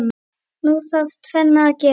Nú þarf tvennt að gerast.